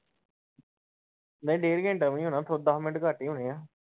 ਨਹੀਂ ਡੇਡ ਘੰਟਾ ਨੀ ਹੋਣਾ ਦੱਸ ਮਿੰਟ ਘੱਟ ਈ ਹੋਣੇ ਆ।